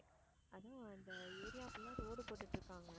அதான் அந்த area full ஆ road போட்டுட்டு இருக்காங்க.